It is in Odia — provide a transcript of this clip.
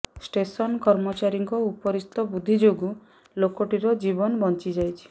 ଷ୍ଟେସନ କର୍ମଚାରୀଙ୍କ ଉପରିସ୍ଥ ବୁଦ୍ଧି ଯୋଗୁଁ ଲୋକଟିର ଜୀବନ ବଞ୍ଚିଯାଇଛି